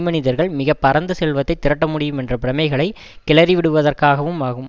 மனிதர்கள் மிக பரந்த செல்வத்தை திரட்ட முடியும் என்ற பிரமைகளை கிளறிவிடுவதற்காகவும் ஆகும்